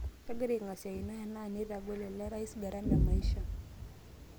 kagira aing'asiakino enaa neitagol ele rais garama ee maisha